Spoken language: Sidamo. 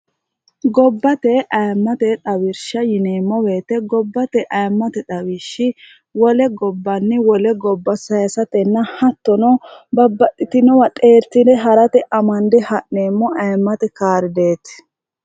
gobbate ayimmate dhawirsha yineemmoweete gobbate ayimmate dhawishshi wole gobbanni wole gobba sayisatenna hattono babbadhitinowa dheertine ha'rate amande ha'neemmo ayimmate kaardeeti